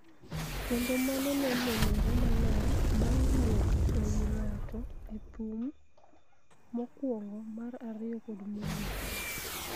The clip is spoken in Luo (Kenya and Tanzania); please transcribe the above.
kendo mano ne nenore maler bang� wuok e wi ng�ato e thum mokwongo, mar ariyo kod mogik.